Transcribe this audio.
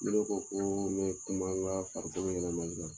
Ni ne ko ko mɛ kuma n ka farikolo yɛrɛlɛmali kan